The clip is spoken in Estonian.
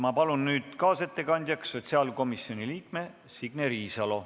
Ma palun nüüd kaasettekandjaks sotsiaalkomisjoni liikme Signe Riisalo!